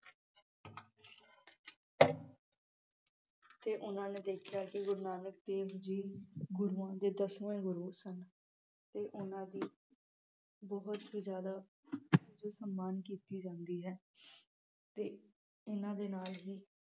ਤੇ ਉਨ੍ਹਾਂ ਨੇ ਦੇਖਿਆ ਕਿ ਗੁਰੂ ਨਾਨਕ ਦੇਵ ਜੀ ਗੁਰੂਆਂ ਦੇ ਦੱਸਵੇ ਗੁਰੂ ਸਨ ਤੇ ਉਨ੍ਹਾਂ ਦੀ ਬਹੁਤ ਹੀ ਜਿਆਦਾ ਉਚ ਸਨਮਾਨ ਕੀਤੀ ਜਾਂਦੀ ਹੈ ਤੇ ਇਨ੍ਹਾਂ ਦੇ ਨਾਲ ਹੀ